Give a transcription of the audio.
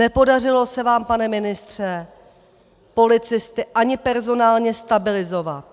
Nepodařilo se vám, pane ministře, policisty ani personálně stabilizovat.